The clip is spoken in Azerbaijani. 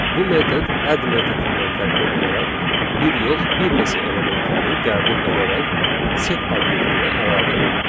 Bu metod add metodundan fərqli olaraq bir yox, bir neçə elementləri qəbul edərək set obyektinə əlavə edir.